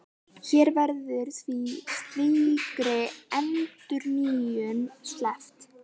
Hér verður því slíkri endurnýjun sleppt.